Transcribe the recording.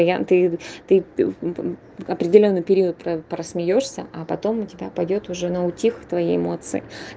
варианты ты ты определённый период про про смеёшься а потом у тебя пойдёт уже на утих твоии эмоции